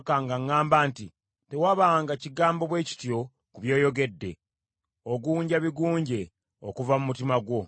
Ne muweereza obubaka nga ŋŋamba nti, “Tewabanga kigambo bwe kityo ku byoyogedde; ogunja bigunje okuva mu mutima gwo.”